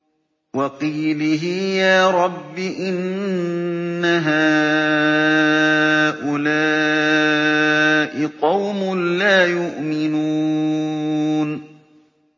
وَقِيلِهِ يَا رَبِّ إِنَّ هَٰؤُلَاءِ قَوْمٌ لَّا يُؤْمِنُونَ